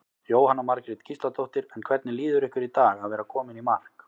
Jóhanna Margrét Gísladóttir: En hvernig líður ykkur í dag að vera komin í mark?